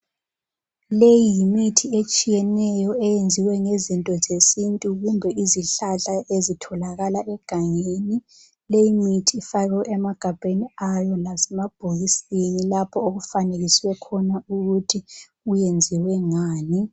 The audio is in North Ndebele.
Leyi yimithi etshiyeneyo eyenziwe ngezinto zesintu kumbe izihlahla ezitholakala egangeni. Leyi mithi ifakwe emagabheni ayo lasemabhokisini lapho okufanekiswe khona ukuthi uyenziwe ngani.